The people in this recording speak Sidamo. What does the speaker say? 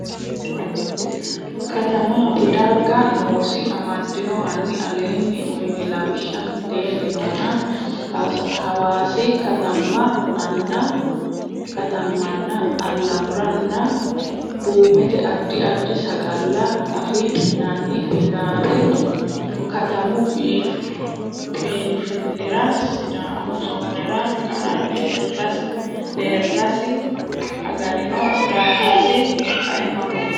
katamaati dargi noosi amadino hanni aleenni uyni lawishsha mitteenni nona Hawaasi Katama nna Alamurunna Duumete Addi addi sagalla afi nanni ilaali katamu biinfillira sidaamu zoonera qara Deerrasi agarino daallasi kaimaho.